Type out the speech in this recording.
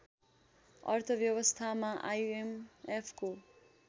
अर्थ व्यवस्थामा आइएमएफको